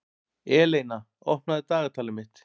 Eleina, opnaðu dagatalið mitt.